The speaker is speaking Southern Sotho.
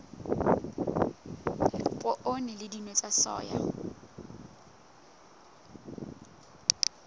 poone le dinawa tsa soya